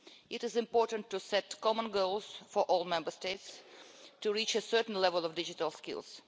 It is important to set common goals for all Member States to reach a certain level of digital skills.